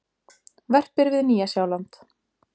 Verpir við Nýja-Sjáland.